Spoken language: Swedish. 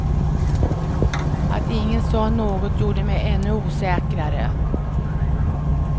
Att ingen sa något gjorde mig ännu osäkrare.